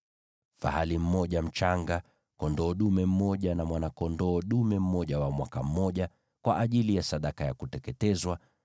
fahali mmoja mchanga, kondoo dume mmoja na mwana-kondoo dume mmoja wa mwaka mmoja, kwa ajili ya sadaka ya kuteketezwa;